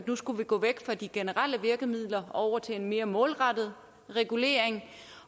nu skulle gå væk fra de generelle virkemidler og over til en mere målrettet regulering